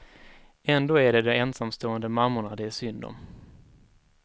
Ändå är det de ensamstående mammorna det är synd om.